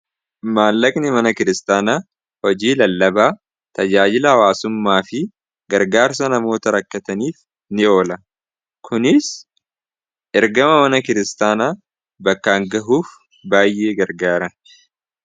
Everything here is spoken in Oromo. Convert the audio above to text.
maallaqni mana kiristaana hojii lallabaa tajaajilala hawaasummaa fi gargaarsa namoota rakkataniif ni oola kuniis ergama mana kiristaana bakkaan gahuuf baay'ee gargaara